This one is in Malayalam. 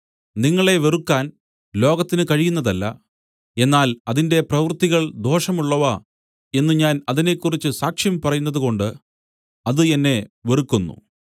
നിങ്ങളെ വെറുക്കാൻ ലോകത്തിനു കഴിയുന്നതല്ല എന്നാൽ അതിന്റെ പ്രവൃത്തികൾ ദോഷമുള്ളവ എന്നു ഞാൻ അതിനെക്കുറിച്ച് സാക്ഷ്യം പറയുന്നതുകൊണ്ട് അത് എന്നെ വെറുക്കുന്നു